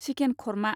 chicken खरमा